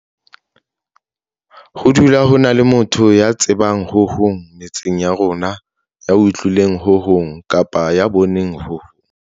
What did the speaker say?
Ho dula ho na le motho ya tsebang ho hong metseng ya rona, ya utlwileng ho hong kapa ya boneng ho hong.